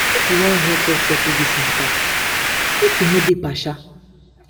if you wan help us settle dis mata make you no dey partial.